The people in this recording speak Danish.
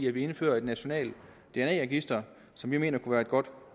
at vi indfører et nationalt dna register som vi mener kunne være et godt